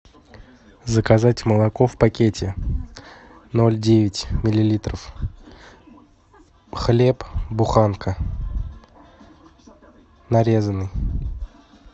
заказать молоко в пакете ноль девять миллилитров хлеб буханка нарезанный